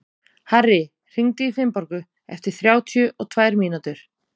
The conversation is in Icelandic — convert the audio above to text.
Harri, hringdu í Finnborgu eftir þrjátíu og tvær mínútur.